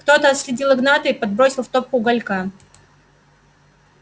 кто-то отследил игната и подбросил в топку уголька